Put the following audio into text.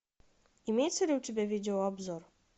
имеется ли у тебя видеообзор